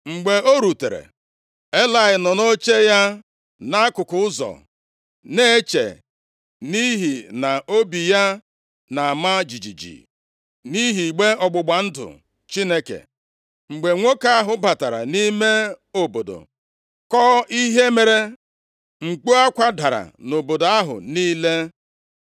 Mgbe o rutere, Elayị nọ nʼoche ya nʼakụkụ ụzọ, na-eche, nʼihi na obi ya na-ama jijiji, nʼihi igbe ọgbụgba ndụ Chineke. Mgbe nwoke ahụ batara nʼime obodo, kọọ ihe mere, mkpu akwa dara nʼobodo ahụ niile.